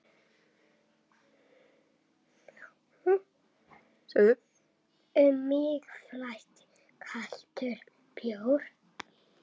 Um mig flæddi kaldur bjór.